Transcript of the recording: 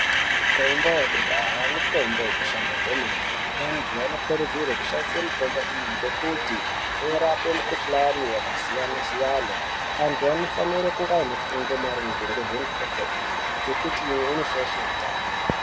Mitombo yekudhaya mitombo inoshanda kwemene. Antu anokurudzirwe kushandisa mitombo iyi ngekuti inorape mikhuhlane yakasiyana-siyana. Antu anofanire kunge anefundo maringe nemitombo iyi ngekuti imwe inoshaishe utano.